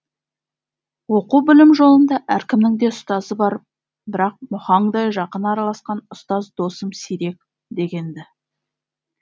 оқу білім жолында әркімнің де ұстазы бар бірақ мұхаңдай жақын араласқан ұстаз досым сирек деген ді